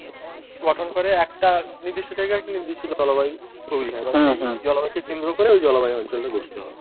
গঠন করে একটা নির্দৃষ্ট জায়গায় একটি নির্দৃষ্ট জলবায়ু তৈরি হয় বা সেই জলবায়ুকে কেন্দ্রে করে ওই জলবায়ু অঞ্চলটা গঠিত হয়।